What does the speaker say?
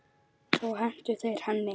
Svo hentu þeir henni.